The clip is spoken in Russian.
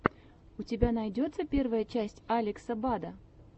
у тебя найдется первая часть алекса бада